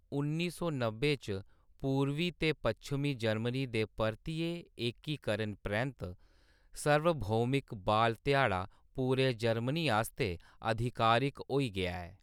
उन्नी सौ नब्बै च पूरबी ते पच्छमी जर्मनी दे परतियै एकीकरण परैंत्त, सार्वभौमिक बाल ध्याड़ा पूरे जर्मनी आस्तै अधिकारिक होई गेआ ऐ।